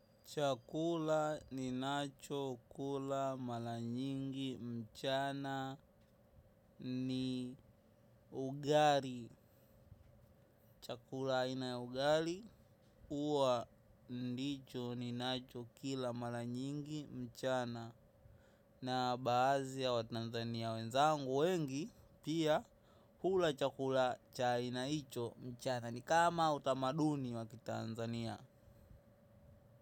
Chakula ninacho kula mara nyingi mchana ni ugali. Chakula aina ugali huwa ndicho ninacho kila maranyingi mchana. Na baadhi ya watanzania wenzangu wengi pia hula chakula cha aina hicho mchana. Ni kama utamaduni wakitanzania.